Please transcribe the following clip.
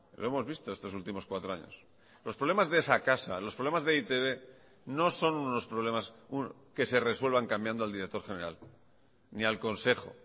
lo hemos visto estos últimos cuatro años los problemas de esa casa los problemas de e i te be no son unos problemas que se resuelvan cambiando el director general ni al consejo